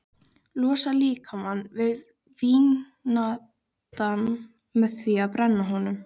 Losar líkamann við vínandann með því að brenna honum.